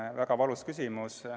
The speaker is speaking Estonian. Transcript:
See on väga valus küsimus.